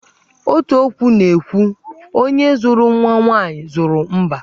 Otu okwu na-ekwu 'Onye zụrụ nwa nwaanyị, zụrụ mbá'.